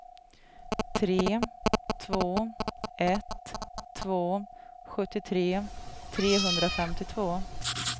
tre två ett två sjuttiotre trehundrafemtiotvå